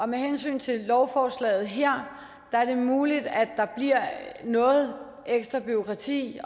med hensyn til lovforslaget her er det muligt at der bliver noget ekstra bureaukrati